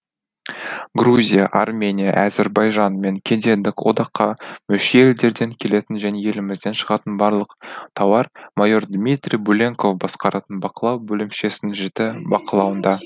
грузия армения әзербайжан мен кедендік одаққа мүше елдерден келетін және елімізден шығатын барлық тауар майор дмитрий буленков басқаратын бақылау бөлімшесінің жіті бақылауында